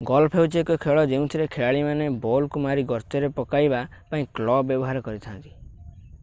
golf ହେଉଛି ଏକ ଖେଳ ଯେଉଁଥିରେ ଖେଳାଳିମାନେ ବଲକୁ ମାରି ଗର୍ତ୍ତରେ ପକାଇବା ପାଇଁ କ୍ଲବ ବ୍ୟବହାର କରିଥାନ୍ତି